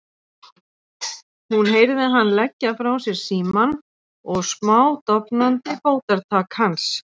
Hún heyrði hann leggja frá sér símann og smádofnandi fótatak hans.